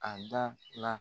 A da la.